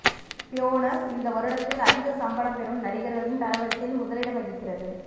Buenos இந்த வருடத்தில் அதிக சம்பளம் பெறும் நடிகர்களின் தரவரிசையில் முதலிடம் வகிக்கிறது